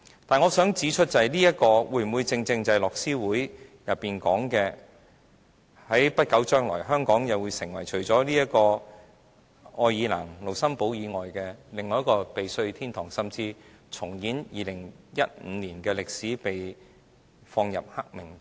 但是，我想指出的是，這會否正正是樂施會報告中所說的，香港會在不久將來成為愛爾蘭和盧森堡以外，另一個避稅天堂，甚至重演2015年的歷史，被列入黑名單內？